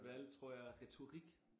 Valgte tror jeg retorik